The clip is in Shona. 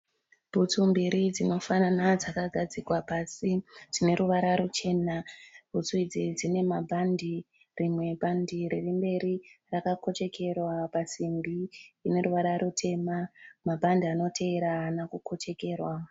Bhutsu mbiri dzinofanana dzakagadzikwa pasi dzineruvara ruchena. Bhutsu idzi dzinemabhandi. Rimwe bhandi ririmberi rakakochekerwa pasimbi ineruvara rutema. Mabhandi anoteera haana kukochekerwa.